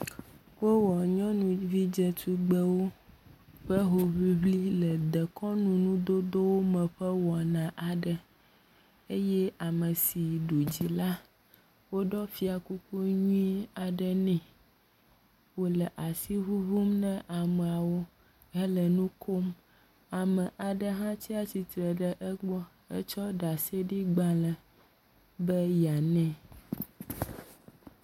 Wowɔ nyɔnuvi dzetugbewo ƒe hoŋliŋli le dekɔnuŋudodo me ƒe wɔna aɖe eye ame si ɖu dzi la woɖɔ fia kuku nyui aɖe ne wòle asi ŋuŋum ne ameawo hele nu kom. Ame aɖe hã tsi atsitre ɖe egbɔ hetsɔ ɖaseɖegbalẽ be yeanɛ.